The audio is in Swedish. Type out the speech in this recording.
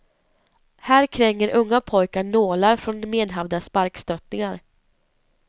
Här kränger unga pojkar nålar från medhavda sparkstöttingar.